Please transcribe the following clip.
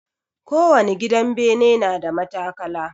Kowani gidan bene na da matakala.